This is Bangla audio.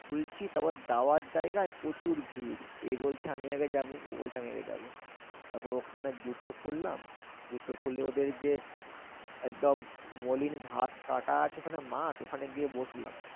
খুলছি তারপর যাওয়ার জায়গায় প্রচুর ভিড়। এ বলছে আমি আগে যাবো। ও বলছে আমি আগে যাবো। তারপর ওখানে জুতো খুললাম। জুতো খুলে ওদের যে একদম মলিন ঘাস কাটা আছে ওখানে মাঠ, ওখানে গিয়ে বসলাম।